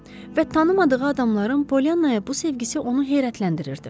Və tanımadığı adamların Pollyanaya bu sevgisi onu heyrətləndirirdi.